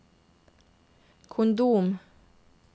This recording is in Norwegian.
kondom